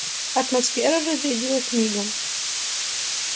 атмосфера разрядилась мигом